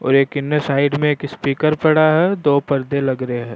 और एक इनने एक साइड में स्पीकर पड़ा है दो परदे लग रे है।